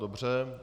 Dobře.